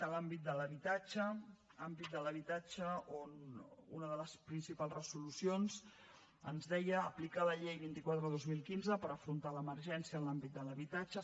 a l’àmbit de l’habitatge on una de les principals resolucions ens deia aplicar la llei vint quatre dos mil quinze per afrontar l’emergència en l’àmbit de l’habitatge